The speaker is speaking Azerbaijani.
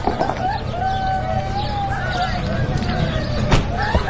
Yığılıb məhəllədə oxumuşdum gəlinlərimlə, balalarım.